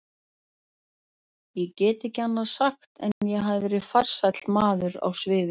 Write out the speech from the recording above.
Ég get ekki annað sagt en ég hafi verið farsæll maður á sviði.